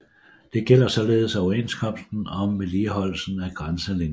Det gælder således overenskomsten om vedligeholdelsen af grænselinjen